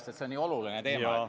See on nii oluline teema.